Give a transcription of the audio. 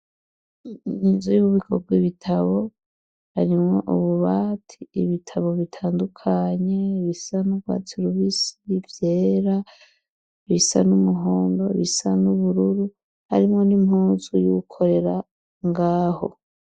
inzu y'ububiko bw' ibitabo harimwo ububati ibitabo bitandukanye bisa nubwatse bubisi ivyera bisa n'umuhondo bisa n'ubururu harimwo ni mpunzu y'ugukorera ngaho.